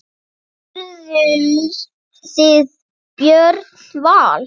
Spurðuð þið Björn Val?